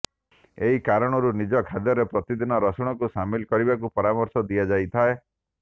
ଏହି କାରଣରୁ ନିଜ ଖାଦ୍ୟରେ ପ୍ରତିଦିନ ରସୁଣକୁ ସାମିଲ କରିବାକୁ ପରାମର୍ଶ ଦିଆଯାଇଥାଏ